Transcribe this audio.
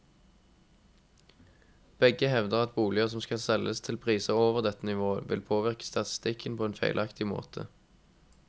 Begge hevder at boliger som selges til priser over dette nivået, vil påvirke statistikken på en feilaktig måte.